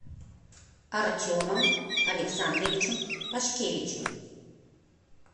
артемом александровичем пашкевичем